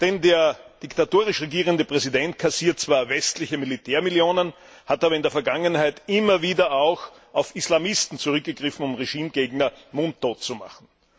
Denn der diktatorisch regierende Präsident kassiert zwar westliche Militärmillionen, hat aber in der Vergangenheit immer wieder auf Islamisten zurückgegriffen, um Regimegegner mundtot zu machen.